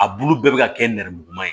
A bulu bɛɛ bɛ ka kɛ nɛrɛmuguma ye